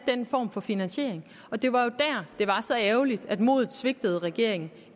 den form for finansiering og det var jo dér det var så ærgerligt at modet svigtede regeringen